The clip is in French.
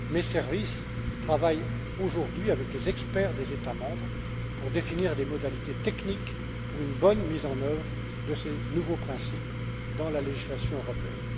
Mes services travaillent aujourd'hui avec les experts des États membres pour définir des modalités techniques pour une bonne mise en œuvre de ces nouveaux principes dans la législation européenne.